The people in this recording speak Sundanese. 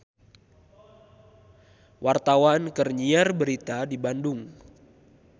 Wartawan keur nyiar berita di Bandung